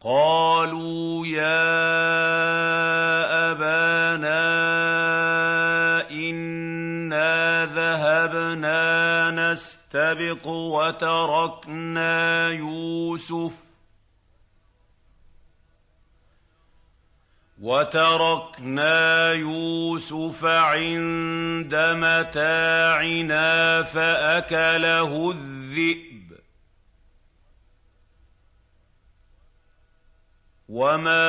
قَالُوا يَا أَبَانَا إِنَّا ذَهَبْنَا نَسْتَبِقُ وَتَرَكْنَا يُوسُفَ عِندَ مَتَاعِنَا فَأَكَلَهُ الذِّئْبُ ۖ وَمَا